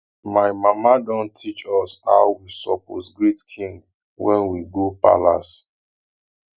my mama don teach us how we suppose greet king when we go palace